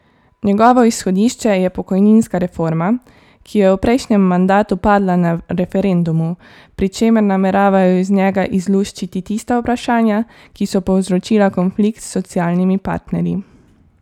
Njegovo izhodišče je pokojninska reforma, ki je v prejšnjem mandatu padla na referendumu, pri čemer nameravajo iz njega izluščiti tista vprašanja, ki so povzročila konflikt s socialnimi partnerji.